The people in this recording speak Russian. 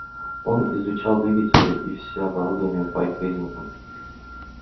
он изучал двигатели и всё оборудование по их признакам